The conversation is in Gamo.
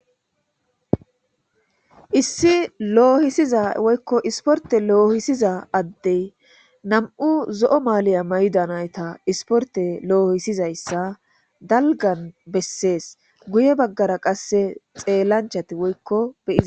issi loohisiza woykko isporte loohisiza addey nam7u zo7o maaliya maydanayta isporte loohisizayssa dalgan bessees guye baggara qasse xeellanchati woykko bei